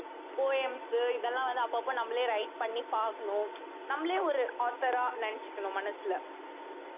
poems இதெல்லாம் வந்து அப்பப்ப நம்மளே write பண்ணி பாக்கணும் நம்மளே ஒரு author ஆ நினைச்சுக்கணும் மனசுல